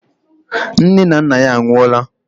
Nne na nna ya anwụọla.